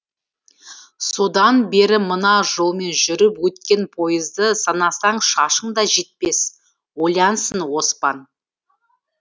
содан бері мына жолмен жүріп өткен пойызды санасаң шашың да жетпес ойлансын оспан